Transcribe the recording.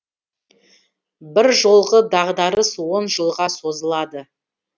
бір жолғы дағдарыс он жылға созылды